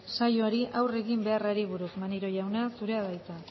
saioari aurre egin beharrari buruz maneiro jauna zurea da hitza